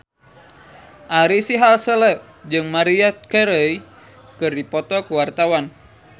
Ari Sihasale jeung Maria Carey keur dipoto ku wartawan